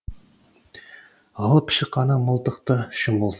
алып шық ана мылтықты шын болса